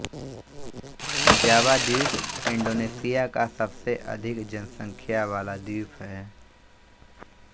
जावा द्वीप इंडोनेशिया का सबसे अधिक जनसंख्या वाला द्वीप है